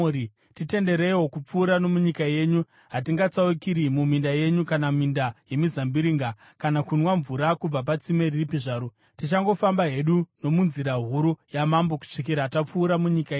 “Titendereiwo kupfuura nomunyika yenyu. Hatingatsaukiri muminda yenyu kana minda yemizambiringa, kana kunwa mvura kubva patsime ripi zvaro. Tichangofamba hedu nomunzira huru yamambo kusvikira tapfuura munyika yenyu.”